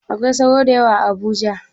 Akwai sauro da yawa a Abuja?